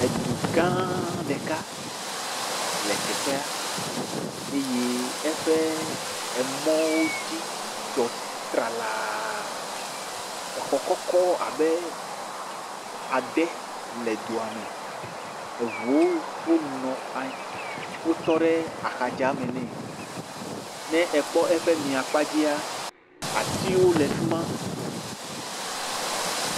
edu gã ɖeka le teƒa eye eƒe emɔwo dzi dzɔ tralaa exɔ kɔkɔ abe adē lɛ dua mɛ eʋuwo wó nɔ anyi wó tɔɖe axame nɛ ne ekpɔ eƒe mia kpadzia atiwo le fima